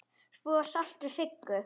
Svo sástu Siggu.